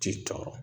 Ci tɔɔrɔ